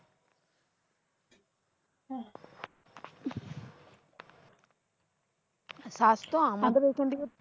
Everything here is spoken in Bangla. আমাদে এখান থেকে তো।